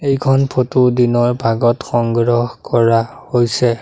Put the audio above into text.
এইখন ফটো দিনৰ ভাগত সংগ্ৰহ কৰা হৈছে।